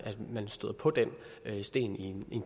man støder på den sten i en